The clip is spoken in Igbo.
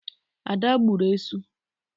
Ada gburu esu.